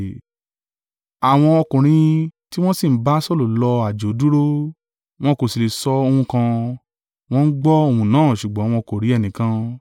Àwọn ọkùnrin tí wọ́n sì ń bá Saulu lọ àjò dúró, wọn kò sì le sọ ohun kan, wọn gbọ́ ohùn náà ṣùgbọ́n wọn kò rí ẹnìkan.